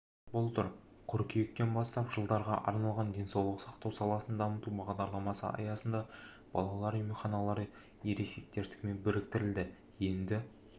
былтыр қыркүйектен бастап жылдарға арналған денсаулық сақтау саласын дамыту бағдарламасы аясында балалар емханалары ересектердікімен біріктірілді енді